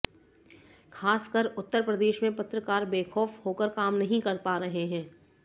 खासकर उत्तर प्रदेश में पत्रकार बेखौफ होकर काम नहीं कर पा रहे हैं